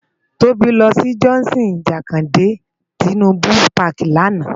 Tobi lò si Johnson Jakande Tinubu pàki làná